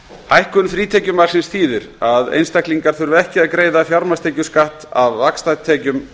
hækkun frítekjumarksins þýðir að einstaklingar þurfa ekki að greiða fjármagnstekjuskatt af vaxtatekjum